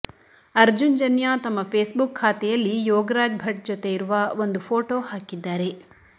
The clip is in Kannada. ಅರ್ಜುನ್ ಜನ್ಯ ತಮ್ಮ ಫೇಸ್ ಬುಕ್ ಖಾತೆಯಲ್ಲಿ ಯೋಗರಾಜ್ ಭಟ್ ಜೊತೆ ಇರುವ ಒಂದು ಫೋಟೋ ಹಾಕಿದ್ದಾರೆ